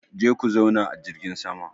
Je ku zauna a jirgin sama!